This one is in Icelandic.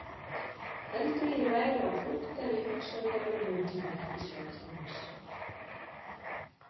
Heldurðu að ég væri á flótta ef ég hugsaði bara um nútímann? hvíslaði Thomas.